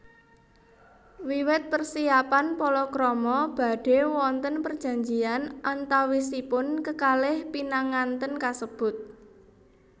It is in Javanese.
Wiwit persiapan palakrama badhe wonten perjanjian antawisipun kekalih pinanganten kasebut